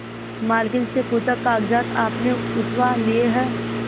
मालकिन से पूछाकागजात आपने उठवा लिए हैं